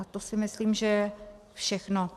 A to si myslím, že je všechno.